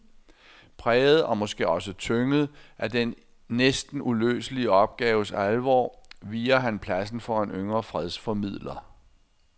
Præget og måske også tynget af den næsten uløselige opgaves alvor viger han pladsen for en yngre fredsformidler.